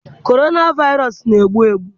Corona Virus na-egbu egbu.